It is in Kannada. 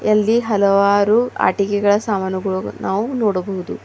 ಅಲ್ಲಿ ಹಲವಾರು ಆಟಿಕೆಗಳ ಸಾಮಾನುಗಳು ನಾವು ನೋಡಬಹುದು.